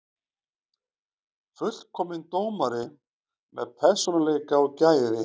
Fullkominn dómari með persónuleika og gæði.